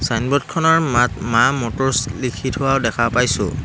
ছাইনবোৰ্ডখনৰ মাত মাঁ মটৰ্ছ লিখি থোৱাও দেখা পাইছোঁ।